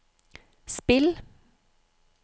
spill